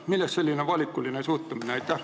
Millest selline valikuline suhtumine?